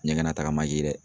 Ɲɛgɛnnataga ma ye dɛ.